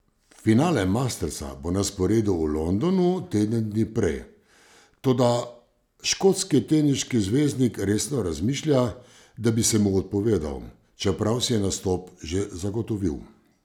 Finale mastersa bo na sporedu v Londonu teden dni prej, toda škotski teniški zvezdnik resno razmišlja, da bi se mu odpovedal, čeprav si je nastop že zagotovil.